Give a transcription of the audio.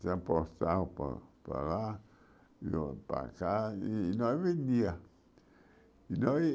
Se para para lá, e eu para cá, e nós vendíamos. E nós